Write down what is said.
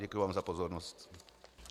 Děkuji vám za pozornost.